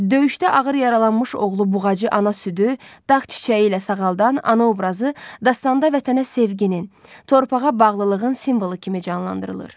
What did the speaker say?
Döyüşdə ağır yaralanmış oğlu Buğacı ana südü, dağ çiçəyi ilə sağaldan ana obrazı dastanda vətənə sevginin, torpağa bağlılığın simvolu kimi canlandırılır.